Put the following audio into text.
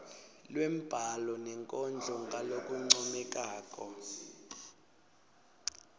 lwembhalo nenkondlo ngalokuncomekako